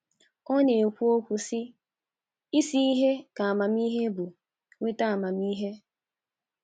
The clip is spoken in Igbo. Ọ na - ekwu, - ekwu, sị: “ Isi ihe ka amamihe bụ; nweta amamihe. ”